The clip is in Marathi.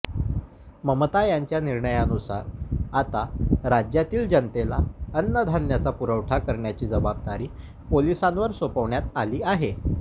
ममता यांच्या निर्णयानुसार आता राज्यातील जनतेला अन्नधान्याचा पुरवठा करण्याची जबाबदारी पोलिसांवर सोपवण्यात आली आहे